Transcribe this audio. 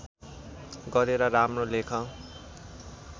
गरेर राम्रो लेख